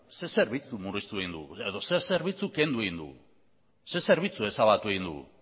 zer zerbitzu murriztu egin dugu edo zer zerbitzu kendu egin dugu zer zerbitzu ezabatu egin dugu